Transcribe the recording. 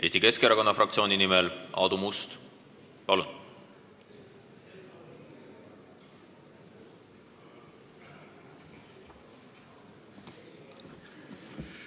Eesti Keskerakonna fraktsiooni nimel Aadu Must, palun!